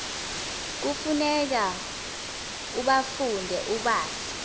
kufuneka ubafunde ubazi